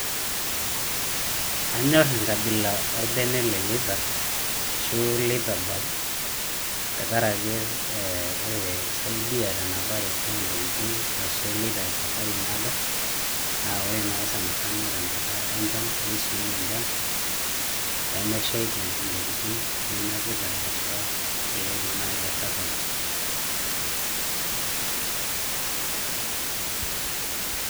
Anyor enkabila orbene le leather, ashu leather bag, tenkaraki ore te, ekisaidia tenapare ontokiting, haswa iloito esafari naado, na ore nai sanasana tenkata enchan, nisuia enchan, pemeshaiki intokiting ninapita haswa ,iloito nai tesafari.